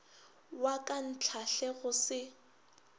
wa ka ntlhahle go se